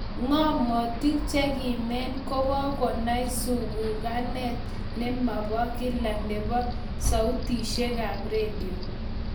Ngamotik che kimen ko kagonai zunguganet ne mabo kila nebo sautishekab redio